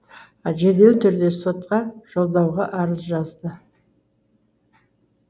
жедел түрде сотқа жолдауға арыз жазды